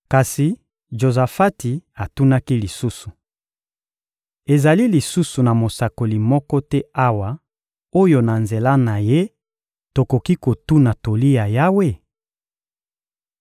Kasi Jozafati atunaki lisusu: — Ezali lisusu na mosakoli moko te awa oyo na nzela na ye tokoki kotuna toli ya Yawe?